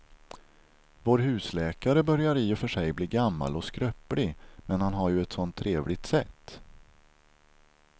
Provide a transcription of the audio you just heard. Vår husläkare börjar i och för sig bli gammal och skröplig, men han har ju ett sådant trevligt sätt!